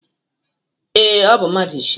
Ee, ọ bụ mmadụ isii.